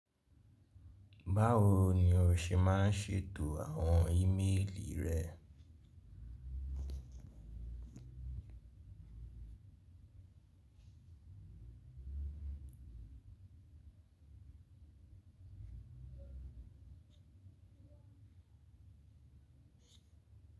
Báwo ni o ṣe máa ń ṣètò àwọn ímeèlì rẹ.